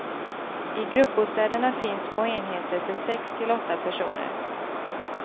I gruppbostäderna finns små enheter för sex till åtta personer.